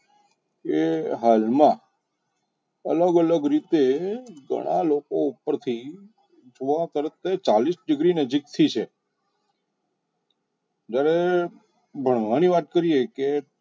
કે હાલમાં અલગ અલગ રીતે ઘણા લોકો ઉપરથી ગોવા કરતા ચાલીસ degree નજીકથી છે જ્યારે ભણવાની વાત કરીએ કે